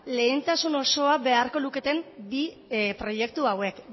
lehentasun osoa beharko luketen bi proiektu hauek